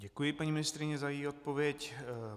Děkuji paní ministryni za její odpověď.